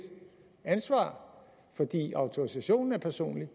ansvar fordi autorisationen er personlig